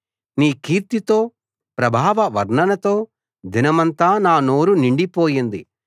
నీ కీర్తితో ప్రభావ వర్ణనతో దినమంతా నా నోరు నిండిపోయింది